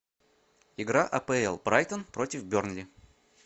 игра апл брайтон против бернли